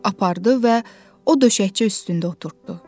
Apardı və o döşəkçə üstündə oturtdurdu.